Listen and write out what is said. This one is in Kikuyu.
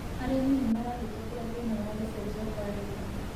Arĩmi nĩ marahetũkĩra thina wa gũcenjia kwa rĩera.